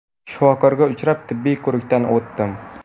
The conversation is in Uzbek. Shifokorga uchrab, tibbiy ko‘rikdan o‘tdim.